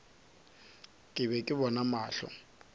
ke be ke bona mahlo